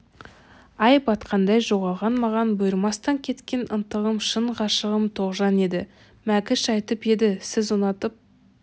ай батқандай жоғалған маған бұйырмастан кеткен ынтығым шын ғашығым тоғжан еді мәкіш айтып еді сіз ұнатып